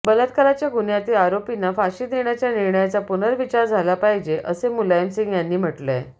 बलात्काराच्या गुन्ह्यातील आरोपींना फाशी देण्याच्या निर्णयाचा पुर्नविचार झाला पाहिजे असे मुलायमसिंग यांनी म्हटलंय